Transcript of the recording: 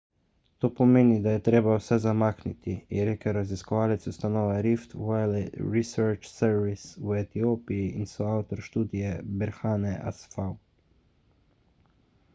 to pomeni da je treba vse zamakniti je rekel raziskovalec ustanove rift valley research service v etiopiji in soavtor študije berhane asfaw